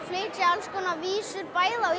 flytja alls konar vísur bæði á